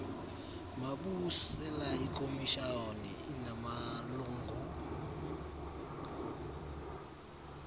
mabusela ikomishoni inamalungu